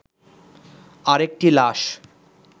আরেকটি লাশ